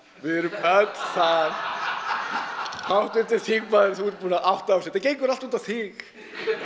við erum öll þar háttvirtur þingmaður þú ert búinn að átta þig á þessu þetta gengur allt út á þig